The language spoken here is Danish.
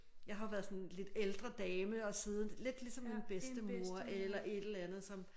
Jeg har jo været sådan lidt ældre dame og siddet lidt ligesom en bedstemor eller et eller andet som